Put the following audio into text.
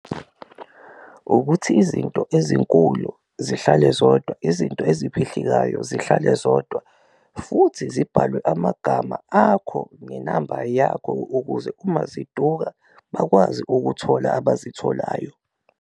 Ukuthi izinto ezinkulu zihlale zodwa, izinto eziphehlekayo zihlale zodwa futhi zibhalwe amagama akho nenamba yakho ukuze uma ziduka bakwazi ukuthola abazitholayo.